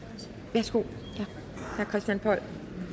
værsgo herre christian poll